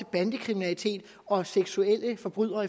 bandekriminalitet og seksuelle forbrydere